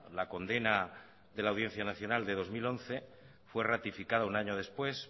la condena de la audiencia nacional de dos mil once fue ratificada un año después